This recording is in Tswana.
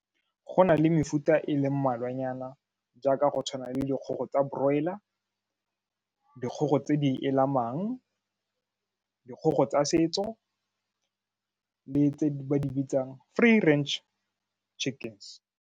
Go nale mefuta e le mmalwanyana jaaka go tshwana le dikgogo tsa broiler, dikgogo tse di elamang, dikgogo tsa setso le tse ba di bitsang free range chicken.